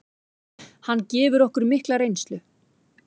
Hann gefur okkur mikla reynslu.